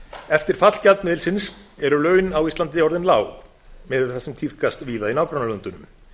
eftir fall gjaldmiðilsins eru laun á íslandi orðin lág miðað við það sem tíðkast víða í nágrannalöndunum